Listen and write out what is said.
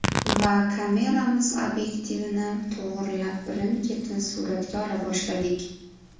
Va kameramiz obyektivini to‘g‘irlab, birin-ketin suratga ola boshladik.